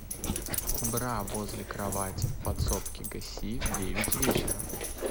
бра возле кровати в подсобке гаси в девять вечера